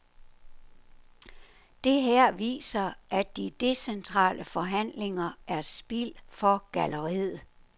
Det her viser, at de decentrale forhandlinger er spil for galleriet.